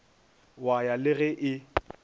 wa ya le ge e